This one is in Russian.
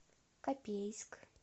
копейск